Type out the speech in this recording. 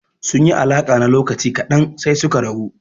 Sun yi alaƙa na lokaci ƙadan sai suka rabu.